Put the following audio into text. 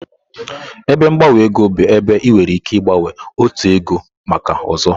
Ebe gbanwe ego bụ ebe ị nwere ike ịgbanwe otu ego maka ọzọ.